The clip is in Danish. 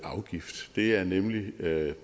blive derude men det